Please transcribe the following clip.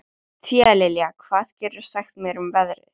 Tíalilja, hvað geturðu sagt mér um veðrið?